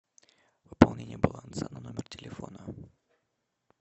пополнение баланса на номер телефона